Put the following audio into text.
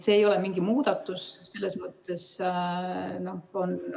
See ei ole mingi muudatus selles mõttes.